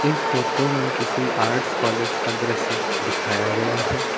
इस फोटो में किसी आर्ट्स कॉलेज का दृश्य दिखाया गया है।